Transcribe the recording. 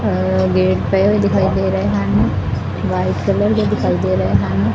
ਅ gate ਪਏ ਹੋਏ ਦਿਖਾਈ ਦੇ ਰਹੇ ਹਨ ਵਾਈਟ ਕਲਰ ਦੇ ਦਿਖਾਈ ਦੇ ਰਹੇ ਹਨ।